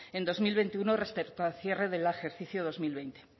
en dos mil veintiuno respecto al cierre del ejercicio dos mil veinte